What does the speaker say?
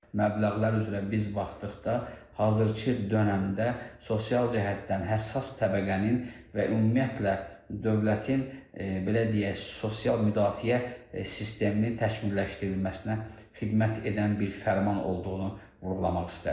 Məbləğlər üzrə biz baxdıqda hazırkı dönəmdə sosial cəhətdən həssas təbəqənin və ümumiyyətlə dövlətin belə deyək sosial müdafiə sistemini təkmilləşdirilməsinə xidmət edən bir fərman olduğunu vurğulamaq istərdim.